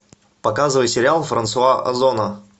показывай сериал франсуа озона